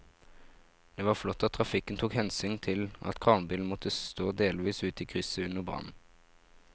Det var flott at trafikken tok hensyn til at kranbilen måtte stå delvis ute i krysset under brannen.